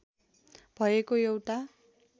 भएको एउटा